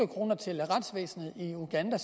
kroner til retsvæsenet i uganda